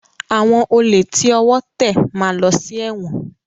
Àwọn olè tí ọwọ́ tẹ̀ máa lọ sí ẹ̀wọ̀n.